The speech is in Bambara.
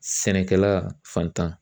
Sɛnɛkɛla fantan